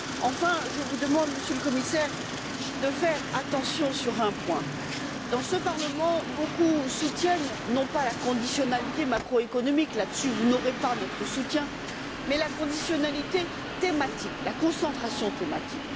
Enfin, Monsieur le Commissaire, j'appelle votre attention sur un point dans ce Parlement, beaucoup soutiennent non pas la conditionnalité macroéconomique là dessus vous n'aurez pas notre soutien mais la conditionnalité thématique, la concentration thématique.